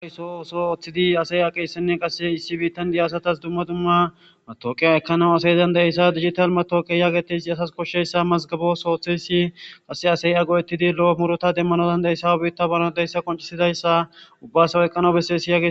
gawyso oso oththidi asay aqeyssenne qase issi biittan diyasatas dumma dumma matooqe ekanaw asayizan daessa digital matooqe yaagetesi asas koshsheyssa mazgabos ooththeyssi qase asay ago7etidi lo7o murota demmanozan deyssaw biitta baran deyssa qoncisidayssa ubbasawo eqqana bessesi yagie